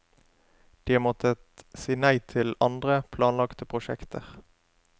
De har måttet si nei til andre, planlagte prosjekter.